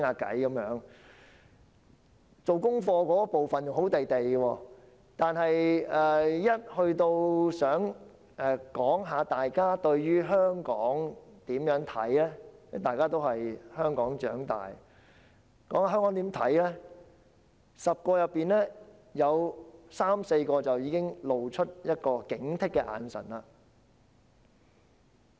大家在做功課時還好，但每當談到對於香港的看法時，這些在香港長大的學生，在10人當中便有三四個露出一種警惕的眼神。